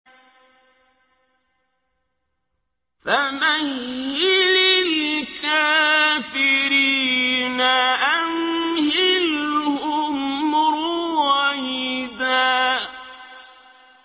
فَمَهِّلِ الْكَافِرِينَ أَمْهِلْهُمْ رُوَيْدًا